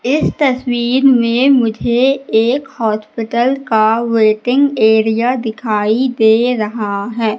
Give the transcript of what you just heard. इस तस्वीर में मुझे एक हॉस्पिटल का वेटिंग एरिया दिखाई दे रहा है।